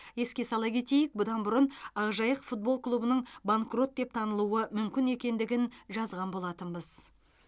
еске сала кетейік бұдан бұрын ақжайық футбол клубының банкрот деп танылуы мүмкін екендігін жазған болатынбыз